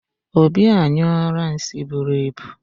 Obi anyụọla nsi buru ịbụ